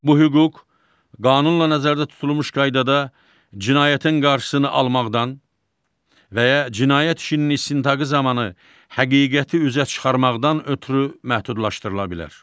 Bu hüquq qanunla nəzərdə tutulmuş qaydada cinayətin qarşısını almaqdan və ya cinayət işinin istintaqı zamanı həqiqəti üzə çıxarmaqdan ötrü məhdudlaşdırıla bilər.